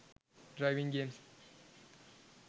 driving games